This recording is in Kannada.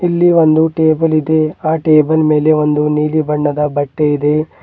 ಇಲ್ಲಿ ಒಂದು ಟೇಬಲ್ ಇದೆ ಆ ಟೇಬಲ್ ಮೇಲೆ ಒಂದು ನೀಲಿ ಬಣ್ಣದ ಬಟ್ಟೆ ಇದೆ.